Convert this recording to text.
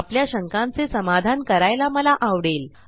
आपल्या शंकांचे समाधान करायला मला आवडेल